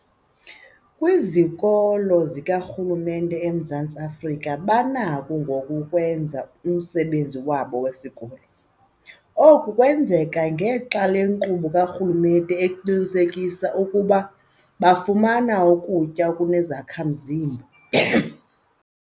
Kwizikolo zikarhulumente eMzantsi Afrika banakho ngoku ukwenza umsebenzi wabo wesikolo. Oku kwenzeka ngexa yenkqubo karhulumente eqinisekisa ukuba bafumana ukutya okunezakha-mzimba.